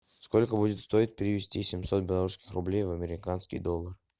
сколько будет стоить перевести семьсот белорусских рублей в американский доллар